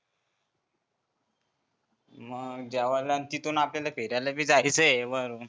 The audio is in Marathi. मंग जेवला तिथून आपल्याला फिरायलबी जायचंं आहे मग